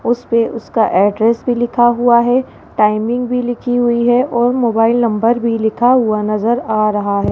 उसपे उसका एड्रेस भी लिखा हुआ है टाइमिंग भी लिखी हुई है और मोबाइल नंबर भी लिखा हुआ नजर आ रहा है।